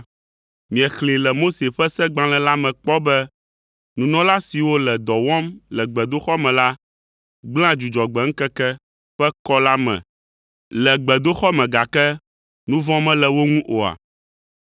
Miexlẽe le Mose ƒe Segbalẽ la me kpɔ be nunɔla siwo le dɔ wɔm le gbedoxɔ me la gblẽa Dzudzɔgbe ŋkeke ƒe kɔ la me le gbedoxɔ me gake nu vɔ̃ mele wo ŋu oa?